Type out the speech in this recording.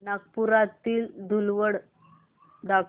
नागपुरातील धूलवड दाखव